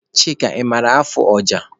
Chika, ị maara afụ ọja?